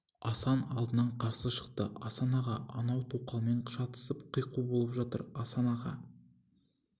асан алдынан қарсы шықты асан аға анау тоқалымен шатысып қиқу болып жатыр асан аға